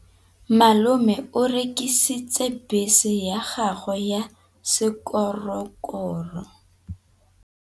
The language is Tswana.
Malome o rekisitse bese ya gagwe ya sekgorokgoro.